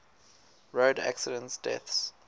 road accident deaths